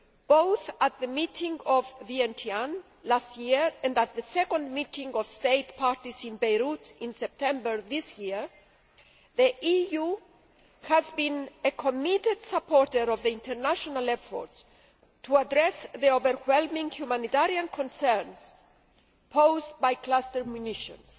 Both at the meeting in Vientiane last year and at the Second Meeting of States Parties in Beirut in September this year, the EU has been a committed supporter of the international efforts to address the overwhelming humanitarian concerns posed by cluster munitions.